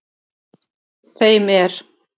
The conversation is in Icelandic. Þeim er